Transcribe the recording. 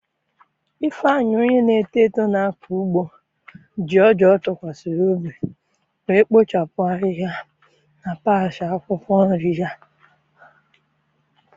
ifeanyi, onye na-eto eto na-akọ ugbo, ji ọja ọ tụkwasịrị obi wee kpochapụ ahihia na patch akwụkwọ nri ya.